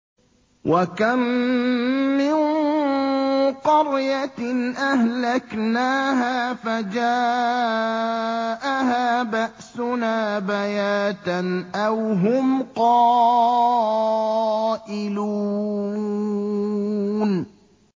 وَكَم مِّن قَرْيَةٍ أَهْلَكْنَاهَا فَجَاءَهَا بَأْسُنَا بَيَاتًا أَوْ هُمْ قَائِلُونَ